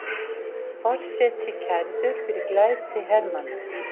Forseti kærður fyrir glæpi hermanna